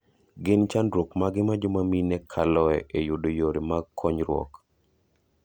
Gin chandruok mage ma joma mine kaloe e yudo yore mag konyruok?